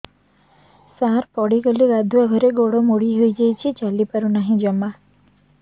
ସାର ପଡ଼ିଗଲି ଗାଧୁଆଘରେ ଗୋଡ ମୋଡି ହେଇଯାଇଛି ଚାଲିପାରୁ ନାହିଁ ଜମା